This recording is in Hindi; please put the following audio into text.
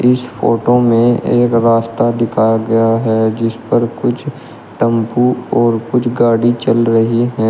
इस फोटो में एक रास्ता दिखाया गया है जिस पर कुछ टम्पू और कुछ गाड़ी चल रही है।